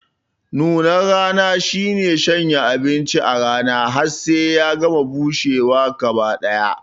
Nunar rana shine shanya abinci a rana har sai ya gama bushewa gaba ɗaya